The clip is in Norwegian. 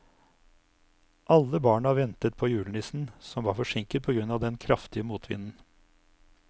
Alle barna ventet på julenissen, som var forsinket på grunn av den kraftige motvinden.